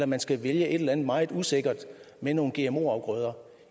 man skal vælge et eller andet meget usikkert med nogle gmo afgrøder